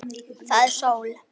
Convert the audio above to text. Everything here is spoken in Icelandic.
Það er sól.